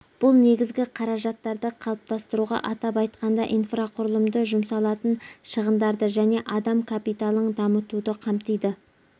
бұл негізгі қаражаттарды қалыптастыруға атап айтқанда инфрақұрылыды жұмсалатын шығындарды және адам капиталын дамытуды қамтиды